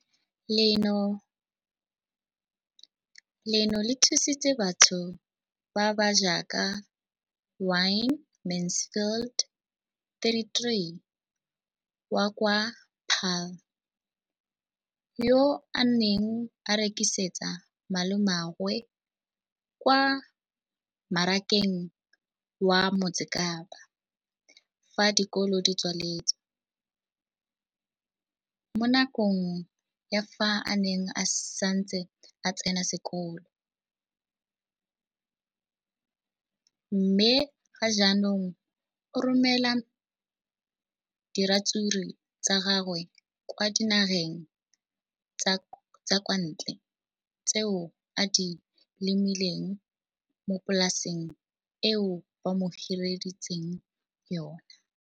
leno le thusitse batho ba ba jaaka Wayne Mansfield, 33, wa kwa Paarl, yo a neng a rekisetsa malomagwe kwa Marakeng wa Motsekapa fa dikolo di tswaletse, mo nakong ya fa a ne a santse a tsena sekolo, mme ga jaanong o romela diratsuru tsa gagwe kwa dinageng tsa kwa ntle tseo a di lemileng mo polaseng eo ba mo hiriseditseng yona.